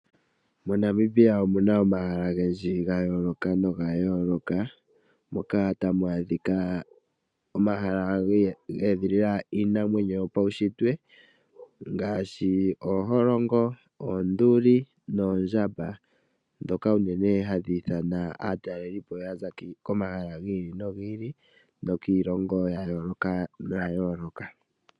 MoNamibia omuna omahala ogendji ga yooloka ngoka geedhilila iinamwenyo yopaushitwe mbyoka hayi ithana aatalelipo okuza kiilongo ya yooloka.